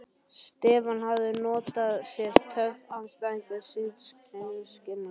Stefán hafði notað sér töf andstæðings síns skynsamlega.